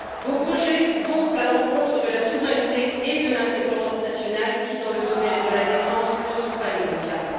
Vos projets vont à l'encontre de la souveraineté et de l'indépendance nationales qui, dans le domaine de la défense, ne sont pas négociables.